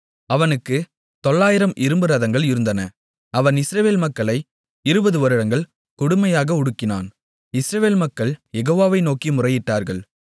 அவனுக்குத் 900 இரும்பு ரதங்கள் இருந்தன அவன் இஸ்ரவேல் மக்களை இருபது வருடங்கள் கொடுமையாக ஒடுக்கினான் இஸ்ரவேல் மக்கள் யெகோவாவை நோக்கி முறையிட்டார்கள்